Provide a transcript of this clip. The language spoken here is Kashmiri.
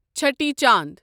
چھٔٹی چانٛد